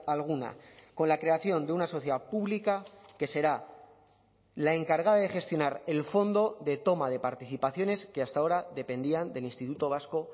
alguna con la creación de una sociedad pública que será la encargada de gestionar el fondo de toma de participaciones que hasta ahora dependían del instituto vasco